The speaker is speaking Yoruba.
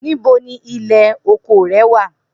Nibo ni ilẹ oko rẹ wa?